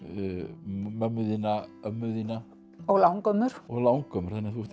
mömmu þína ömmu þína og langömmur og langömmur þannig að þú ert